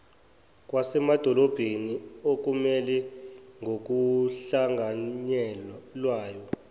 okwasemadolobheni okumela ngokuhlanganyelwayo